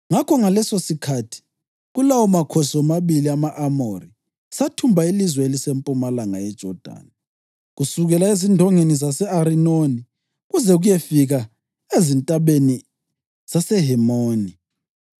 Ngakho ngalesosikhathi kulawo makhosi womabili ama-Amori sathumba ilizwe elisempumalanga yeJodani, kusukela ezindongeni zase-Arinoni kuze kuyefika ezintabeni zaseHemoni.”